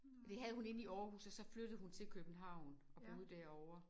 Det havde hun inde i Aarhus og så flyttede hun til København og boede derovre